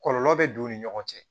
Kɔlɔlɔ bɛ don u ni ɲɔgɔn cɛ